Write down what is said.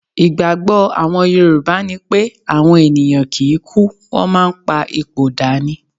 Ìgbágbọ́ àwọn yorùbá ni pé àwọn ènìyàn kì í kú, wọ́n máa ń pa ipò dà ni.